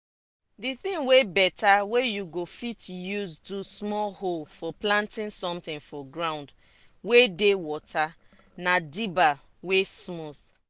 the thing wey better wey you go fit use do small hole for planting something for ground wey dey water na dibber wey smooth.